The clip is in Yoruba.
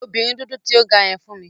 Pe obinrin dudu ti o ga yen fun mi!